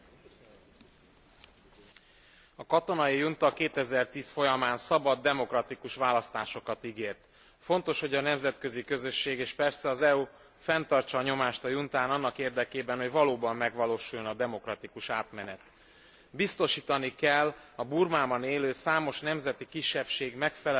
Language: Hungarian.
A katonai junta 2010 folyamán szabad, demokratikus választásokat ígért. Fontos, hogy a nemzetközi közösség és persze az EU fenntartsa a nyomást a juntán annak érdekében, hogy valóban megvalósuljon a demokratikus átmenet. Biztosítani kell a Burmában élő számos nemzeti kisebbség megfelelő részvételét is a választásokon.